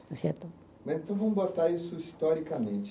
Certo? Então, vamos botar isso historicamente.